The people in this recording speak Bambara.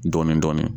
Dɔɔnin-dɔɔnin